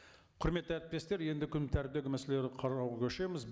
құрметті әріптестер енді күн мәселелерді қарауға көшеміз